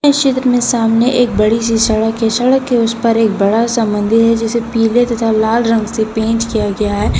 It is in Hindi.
इस चित्र में सामने एक बड़ी सी सड़क है सड़क के उसे पर एक बड़ा सा मंदिर है जिसे पीले तथा लाल रंग से पेंट किया गया है।